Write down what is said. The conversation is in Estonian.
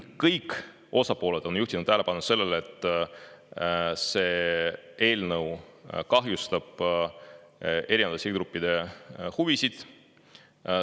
Kõik osapooled on juhtinud tähelepanu sellele, et see eelnõu kahjustab erinevate sihtgruppide huvisid.